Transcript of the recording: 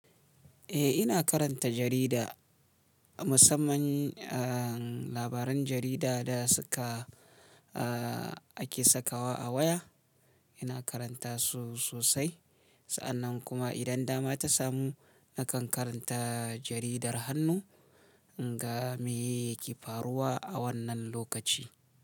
Eh, ina karanta jarida. Musamman, ah, labaran jarida da suka, ah, ake sakawa a waya, ina karanta su sosai. Sa'annan kuma idan dama ta samu, nakan karanta jaridar hannu. In ga me yake faruwa a wannan lokaci.